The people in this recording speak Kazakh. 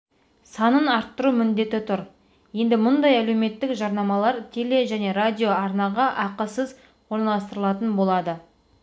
санын арттыру міндеті тұр енді мұндай әлеуметтік жарнамалар теле және радио арнаға ақысыз орналастырылатын болады